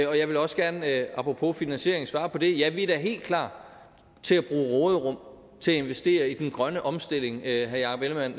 jeg vil også gerne apropos finansiering svare på det ja vi er da helt klar til at bruge råderum til at investere i den grønne omstilling herre jakob ellemann